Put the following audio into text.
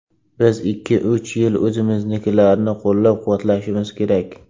Biz ikki-uch yil o‘zimiznikilarni qo‘llab-quvvatlashimiz kerak.